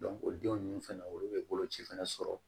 o den ninnu fɛnɛ olu bɛ bolo ci fɛnɛ sɔrɔ